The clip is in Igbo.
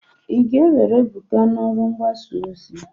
Ị ga-ewere Ebuka n'ọrụ mgbasa ozi!